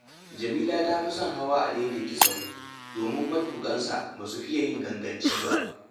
Jamila ta fi son hawa adaidaita sahu, domin matuƙansa ba su fiya yin ganganci ba